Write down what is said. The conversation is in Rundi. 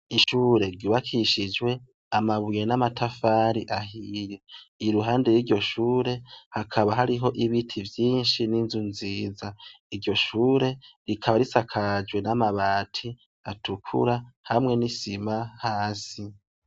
Ishure gibakishijwe amabuye n'amatafari ahiye i ruhande r'iryo shure hakaba hariho ibiti vyinshi n'inzu nziza iryo shure rikaba risakajwe n'amabati atukura hamwe n'isima hasi.